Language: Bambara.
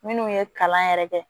Minnu ye kalan yɛrɛ kɛ